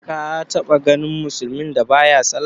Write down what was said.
Ka taɓa ganin musulmin da ba ya sallah?